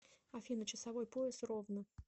афина часовой пояс ровно